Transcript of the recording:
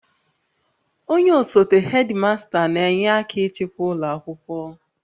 Onye osote hedimasta n'enye aka ịchịkwa ụlọ akwụkwọ